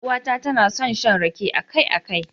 Yar uwata tana son shan rake akai-akai.